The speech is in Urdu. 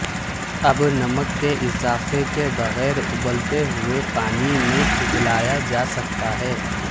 اب نمک کے اضافے کے بغیر ابلتے ہوئے پانی میں ابلایا جا سکتا ہے